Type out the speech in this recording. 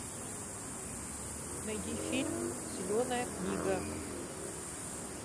найди фильм зеленая книга